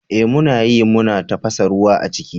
Eh muna yi, muna tafasa ruwa a ciki.